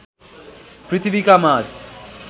पृथ्वीका माझ